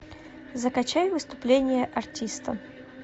закачай выступление артиста